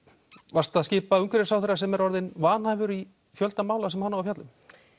varstu að skipa umhverfisráðherra sem er orðinn vanhæfur í fjölda mála sem hann á að fjalla um